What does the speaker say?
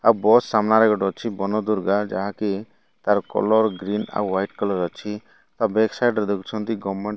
ଆଉ ବସ୍ ସାମ୍ନାରେ ଗୋଟେ ଅଛି ବନ ଦୁର୍ଗା ଯାହାକି ତାର କଲର୍ ଗ୍ରୀନ ଆଉ ୱାଇଟ କଲର୍ ଅଛି ଆଉ ବେଗ ସାଇଟ୍ ରେ ଦେଖୁଛନ୍ତି ଗମେଣ୍ଟ --